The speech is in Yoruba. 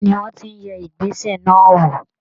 Ibí ni wọ́n ti yẹ ìgbésẹ̀ náà wò